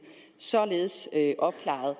således opklaret